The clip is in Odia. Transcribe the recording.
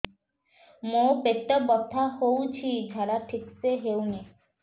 ମୋ ପେଟ ବଥା ହୋଉଛି ଝାଡା ଠିକ ସେ ହେଉନି